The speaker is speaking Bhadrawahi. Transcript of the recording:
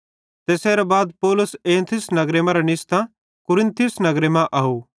तैसेरां बाद पौलुस एथेंस नगरे मरां निस्तां कुरिन्थुस नगरे मां आव